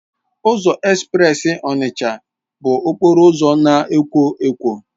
Ụzọ espreesi Onitsha bụ okporo ụzọ na-ekwo ekwo.